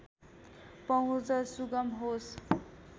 पहुँच सुगम होस्